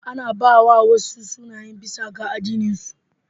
Ana ba wa wasu sunaye bisa ga addininsu.